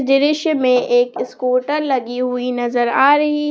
दृश्य में एक स्कूटर लगी हुई नजर आ रही है।